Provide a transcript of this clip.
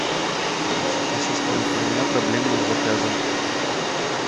ассистент у меня проблема с заказом